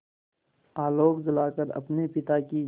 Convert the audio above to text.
आलोक जलाकर अपने पिता की